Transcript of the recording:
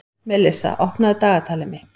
Melissa, opnaðu dagatalið mitt.